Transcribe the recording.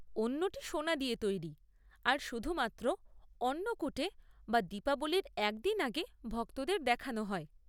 অন্যটি সোনা দিয়ে তৈরি আর শুধুমাত্র অন্নকূটে বা দীপাবলির একদিন আগে ভক্তদের দেখানো হয়।